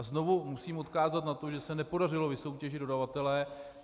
A znovu musím odkázat na to, že se nepodařilo vysoutěžit dodavatele.